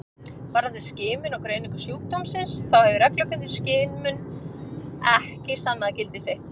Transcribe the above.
Varðandi skimun og greiningu sjúkdómsins þá hefur reglubundin skimun ekki sannað gildi sitt.